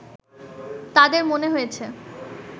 তাদের মনে হয়েছে